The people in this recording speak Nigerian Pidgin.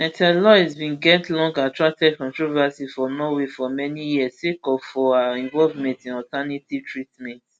mrtha louise bin get long attracted controversy for norway for many years sake of for her involvement in alternative treatments